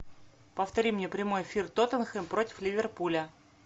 повтори мне прямой эфир тоттенхэм против ливерпуля